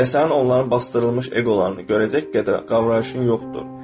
Və sənin onların basdırılmış eqolarını görəcək qədər qavrayışın yoxdur.